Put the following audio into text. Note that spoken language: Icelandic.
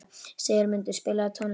Sigurmundur, spilaðu tónlist.